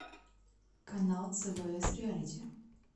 канал цбс реалити